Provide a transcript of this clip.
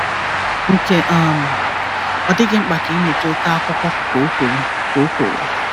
"Nke um m, ọ dịghị mkpa ka ị mụta oké akwúkwó," ka ọ kwuru. ka ọ kwuru.